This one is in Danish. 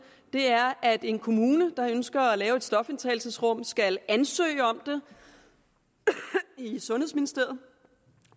er at en kommune der ønsker at lave et stofindtagelsesrum skal ansøge om det i sundhedsministeriet